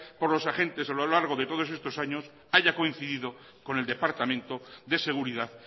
por los agentes a lo largo de todos estos años haya coincidido con el departamento de seguridad